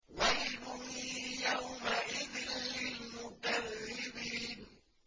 وَيْلٌ يَوْمَئِذٍ لِّلْمُكَذِّبِينَ